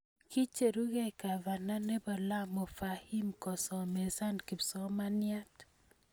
Kicherugei kavana ne bo Lamu Fahim kosomesan kipsomanian.